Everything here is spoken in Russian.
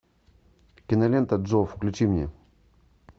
кинолента джо включи мне